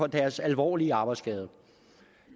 deres alvorlige arbejdsskade